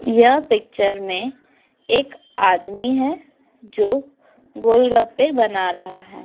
यह पिक्चर में एक आदमी है जो गोल गप्पे बना रहा है।